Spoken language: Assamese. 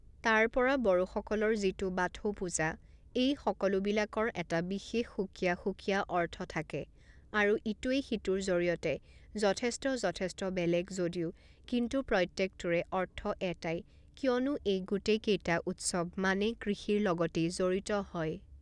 তাৰপৰা বড়োসকলৰ যিটো বাথৌ পূজা এই সকলোবিলাকৰ এটা বিশেষ সুকীয়া সুকীয়া অৰ্থ থাকে আৰু ইটোৱে সিটোৰ জৰিয়তে যথেষ্ট যথেষ্ট বেলেগ যদিও কিন্তু প্ৰত্যেকটোৰে অৰ্থ এটাই কিয়নো এই গোটেইকেইটা উৎসৱ মানে কৃষিৰ লগতেই জড়িত হয়